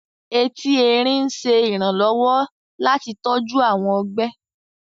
Ẹtì Ẹrín ń ṣe iranlọwọ láti tọju awọn ọgbe